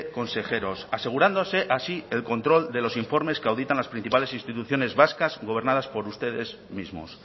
consejeros asegurándose así el control de los informes que auditan las principales instituciones vascas gobernadas por ustedes mismos